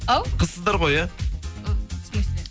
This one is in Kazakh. ау қызсыздар ғой иә і в смысле